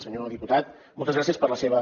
senyor diputat moltes gràcies per la seva